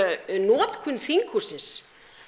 notkun þinghússins